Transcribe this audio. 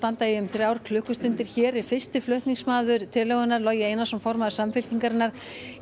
í um þrjár klukkustundir hér er fyrsti flutningsmaður tillögunnar Logi Einarsson formaður Samfylkingarinnar